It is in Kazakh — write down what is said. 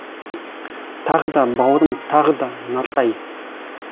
тағы да бауырым тағы да нартай